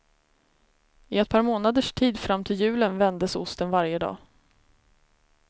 I ett par månaders tid fram till julen vändes osten varje dag.